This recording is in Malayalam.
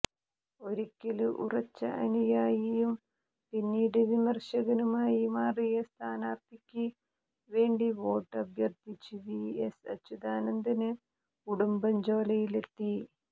ഒരിക്കല് ഉറച്ച അനുയായിയും പിന്നീട് വിമര്ശകനുമായി മാറിയ സ്ഥാനാര്ത്ഥിക്ക് വേണ്ടി വോട്ട് അഭ്യര്ത്ഥിച്ച് വി എസ് അച്യുതാനന്ദന് ഉടുമ്പഞ്ചോലയിലെത്തി